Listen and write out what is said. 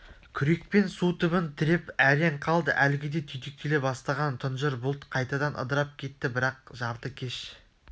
күрекпен су түбін тіреп әрең қалды әлгіде түйдектеле бастаған тұнжыр бұлт қайтадан ыдырап кетті бірақ жартыкеш